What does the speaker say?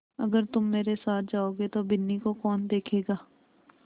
अगर तुम मेरे साथ जाओगे तो बिन्नी को कौन देखेगा